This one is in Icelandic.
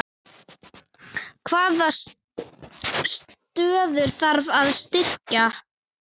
Hvaða stöður þarf að styrkja?